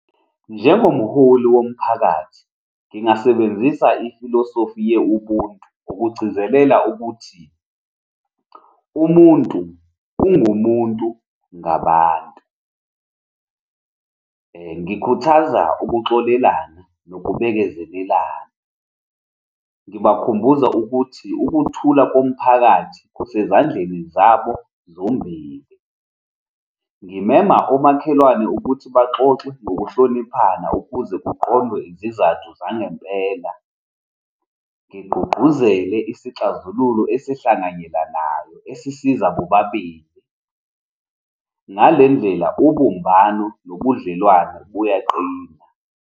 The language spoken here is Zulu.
Njengomholi womphakathi, ngingasebenzisa ifilosofi ye-ubuntu ukugcizelela ukuthi umuntu ungumuntu ngabantu. Ngikhuthaza ukuxolelana nokubekezelelana. Ngibakhumbuza ukuthi ukuthula komphakathi kusezandleni zabo zombili. Ngimema omakhelwane ukuthi baxoxe ngokuhloniphana ukuze kuqondwe izizathu zangempela. Ngigqugquzele isixazululo esihlanganyelanayo esisiza bobabili. Ngale ndlela, ubumbano nobudlelwane buyaqina.